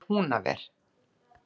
Hvað er Húnaver!